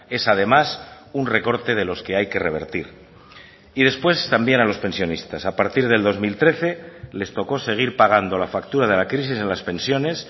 es además un recorte de los que hay que revertir y después también a los pensionistas a partir del dos mil trece les tocó seguir pagando la factura de la crisis en las pensiones